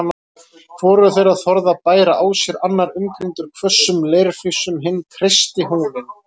Hvorugur þeirra þorði að bæra á sér, annar umkringdur hvössum leirflísum, hinn kreisti húninn